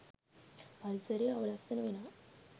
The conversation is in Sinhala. පරිසරය අවලස්සන වෙනවා